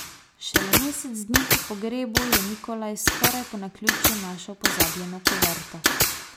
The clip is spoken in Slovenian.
Šele mesec dni po pogrebu je Nikolaj skoraj po naključju našel pozabljeno kuverto.